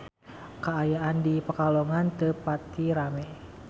Kaayaan di Pekalongan teu pati rame